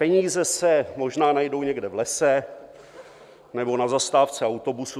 Peníze se možná najdou někde v lese nebo na zastávce autobusu.